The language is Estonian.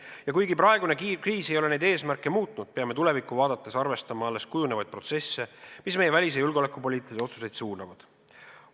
Ja kuigi praegune kriis ei ole neid eesmärke muutnud, peame tulevikku vaadates arvestama alles kujunevaid protsesse, mis meie välis- ja julgeolekupoliitilisi otsuseid suunavad.